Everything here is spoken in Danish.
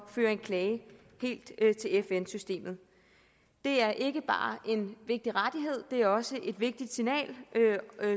føre en klage helt til fn systemet det er ikke bare en vigtig rettighed det er også et vigtigt signal